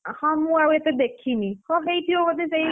ହଁ ମୁଁ ଆଉ ଏତେ ଦେଖିନି ହଁ ହେଇଥିବ ବୋଧେ ସେଇ।